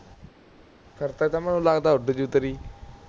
ਫੇਰ ਤਾ ਤਾਂ ਮੈਨੂੰ ਲਗਦਾ ਉੱਡਜੂ ਤੇਰੀ